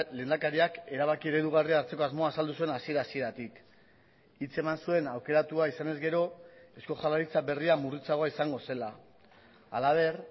lehendakariak erabaki eredugarria hartzeko asmoa azaldu zuen hasiera hasieratik hitz eman zuen aukeratua izanez gero eusko jaurlaritza berria murritzagoa izango zela halaber